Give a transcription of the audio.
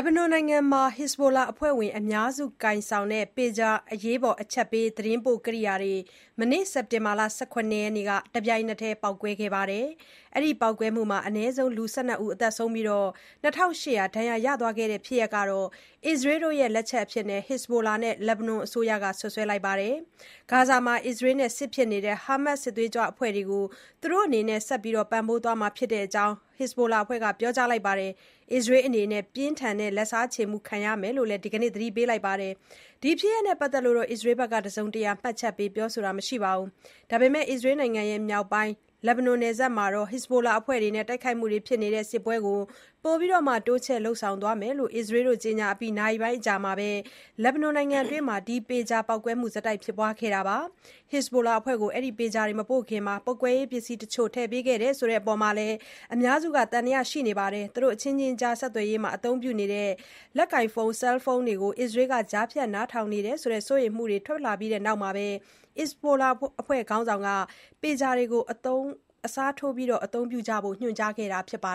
ဘနွန်နိုင်ငံမှာ Hezbollah အဖွဲ့ဝင် အများစုကိုင်ဆောင်တဲ့ Pager အရေးပေါ် အချက်ပေး သတင်းပို့ကိရိယာတွေ မနေ့ စက်တင်ဘာ ၁၇ ရက်နေ့က တပြိုင်တည်း ပေါက်ကွဲတဲ့အတွက် အနည်းဆုံး လူ ၁၂ ဦးသေဆုံးပြီး၊ ၂,၈၀၀ ဒဏ်ရာရသွားခဲ့တဲ့ဖြစ်ရပ်ဟာ အစ္စရေးရဲ့ လက်ချက်လို့ Hezbollah နဲ့ လက်ဘနွန်အစိုးရတို့က စွပ်စွဲလိုက်ပါတယ်။ ဂါဇာမှာ အစ္စရေးနဲ့စစ်ဖြစ်နေတဲ့ ဟာမတ်စ် စစ်သွေးကြွအဖွဲ့ကို သူတို့အနေနဲ့ ဆက်လက် ပံ့ပိုးပေးသွားမှာဖြစ်ကြောင်း Hezbollah အဖွဲ့က ပြောကြားလိုက်ပြီး အစ္စရေးအနေနဲ့ ပြင်းထန်တဲ့ လက်စားချေမှု ခံရမယ်လို့လည်း ဒီကနေ့ သတိပေးလိုက်ပါတယ်။ ဒီဖြစ်ရပ်နဲ့ပတ်သက်လို့ အစ္စရေးဘက်က တစုံတရာ မှတ်ချက်ပေး ပြောဆိုတာ မရှိပါဘူး။ ဒါပေမယ့် အစ္စရေးနိုင်ငံ မြောက်ပိုင်း လက်ဘနွန် နယ်စပ်မှာ Hezbollah အဖွဲ့နဲ့ တိုက်ခိုက်မှုတွေဖြစ်နေတဲ့ စစ်ပွဲကို ပိုပြီး တိုးချဲ့ လုပ်ဆောင်သွားမယ်လို့ အစ္စရေးက ကြေညာအပြီး နာရီပိုင်းအကြာမှာ လက်ဘနွန်နိုင်ငံအတွင်း ဒီ Pager ပေါက်ကွဲမှုတွေ ဆက်တိုက် ဖြစ်ပေါ်ခဲ့တာပါ။ Hezbollah အဖွဲ့ကို အဲဒီ Pager တွေ မပို့ခင် ပေါက်ကွဲရေးပစ္စည်းတချို့ ထည့်ပေးခဲ့တယ်ဆိုအပေါ် အများစုက သံသယ ရှိနေကြတာပါ။ သူတို့အချင်းချင်းကြား ဆက်သွယ်ရေးမှာ အသုံးပြုတဲ့ လက်ကိုင်ဖုန်း (Cellphone) တွေကို အစ္စရေးက ကြားဖြတ်နားထောင်နေတယ်ဆိုတဲ့ စိုးရိမ်မှုတွေ ထွက်လာပြီးတဲ့နောက် Hezbollah အဖွဲ့ခေါင်းဆောင်က Pager တွေကို အစားထိုး အသုံးပြုကြဖို့ ညွှန်ကြားခဲ့တာပါ